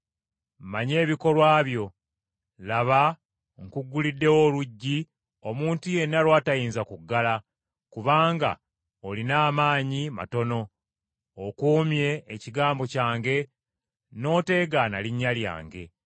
Mmanyi ebikolwa byo. Laba nkugguliddewo oluggi, omuntu yenna lw’atayinza kuggala; kubanga olina amaanyi matono, okuumye ekigambo kyange n’oteegaana linnya lyange,